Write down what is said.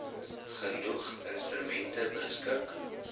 genoeg instrumente beskik